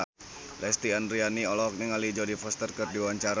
Lesti Andryani olohok ningali Jodie Foster keur diwawancara